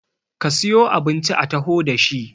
ka siyo abinci a taho da shi!